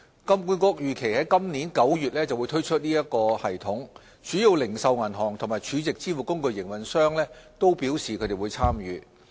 金管局預期於今年9月推出該系統，主要零售銀行及儲值支付工具營運商均表示會參與。